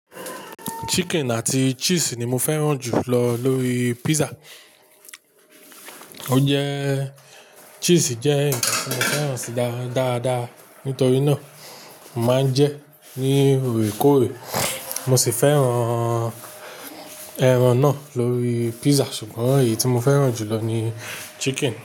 Chicken àti cheese ni mo fẹ́ràn jù lọ lórí pizza. O jẹ́ cheese jẹ́ ǹkan tí mo fẹ́ràn sí dáadáa. Nítorí náà, màá ń jẹ ní ìrékọ́rè. Mo sì fẹ́ràn ẹran náà lórí pizza ṣùgbọ́n èyí tí mo fẹ́ràn jù lọ ni chicken.